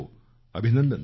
अभिनंदन करतो